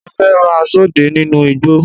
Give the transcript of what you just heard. Mo fẹ́ máa sọdẹ nínú igbó